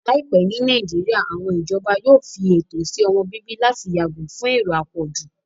Láìpẹ́ ní Nàìjíríyà, àwọn ìjọba yóò fi ètò sí ọmọ-bíbí láti yàgò fún èrò àpọ̀jù